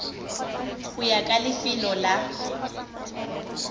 go ya ka lefelo la